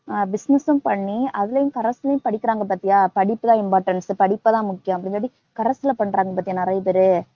ஆஹ் business ஊ பண்ணி அதுலயும் corres லயும் படிக்கிறாங்க பாத்தியா படிப்புதான் importance படிப்புதான் முக்கியம் corres ல பண்றாங்க பாத்தியா நெறையபேர்